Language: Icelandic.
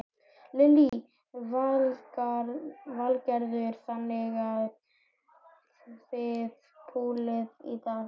Lillý Valgerður: Þannig að þið púlið í dag?